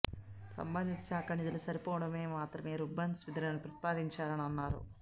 సంబంధిత శాఖ నిధులు సరిపోనప్పుడు మాత్రమే రూర్బన్ నిధులను ప్రతిపాదించాలని అన్నారు